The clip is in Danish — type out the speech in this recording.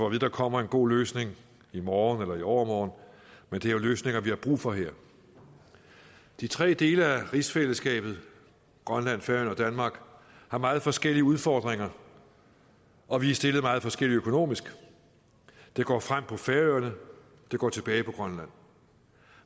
at der kommer en god løsning i morgen eller i overmorgen men det er jo løsninger nu vi har brug for her de tre dele af rigsfællesskabet grønland færøerne og danmark har meget forskellige udfordringer og vi er stillet meget forskelligt økonomisk det går fremad på færøerne det går tilbage på grønland